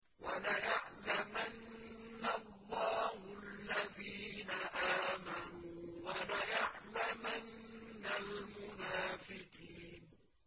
وَلَيَعْلَمَنَّ اللَّهُ الَّذِينَ آمَنُوا وَلَيَعْلَمَنَّ الْمُنَافِقِينَ